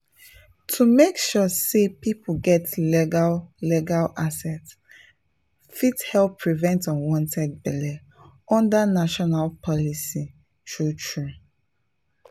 to make sure say people get legal legal access fit help prevent unwanted belle under national policy true true.